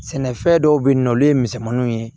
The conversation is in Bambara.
Sɛnɛfɛn dɔw be yen nɔ olu ye misɛnmaniw ye